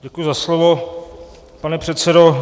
Děkuji za slovo, pane předsedo.